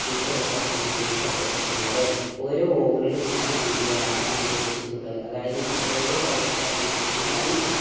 ഇപ്രകാരം ക്രമീകരിക്കപ്പെട്ടിട്ടുള്ളത്. ഓരോ over ലും ആറു പന്തുകളാണ് അനുവദിച്ചിട്ടുള്ളത്. അതായത് നമ്മൾ ഒരു over കളിക്കുക എന്ന് വെച്ചയ്‌നാൽ അതിൽ